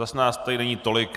Zas nás tady není tolik.